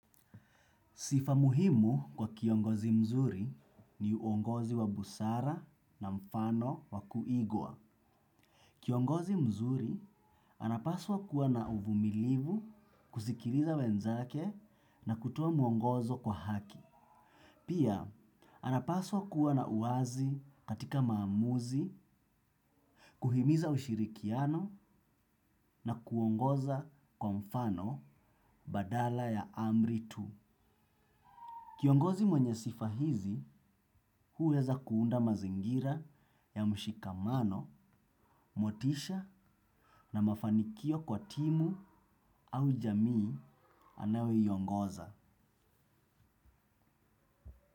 Sifa muhimu kwa kiongozi mzuri ni uongozi wa busara na mfano wa kuigwa. Kiongozi mzuri anapaswa kuwa na uvumilivu, kusikiliza wenzake na kutoa mwongozo kwa haki. Pia, anapaswa kuwa na uwazi katika maamuzi, kuhimiza ushirikiano na kuongoza kwa mfano badala ya amri tu. Kiongozi mwenye sifa hizi huweza kuunda mazingira ya mshikamano, motisha na mafanikio kwa timu au jamii anayo iongoza.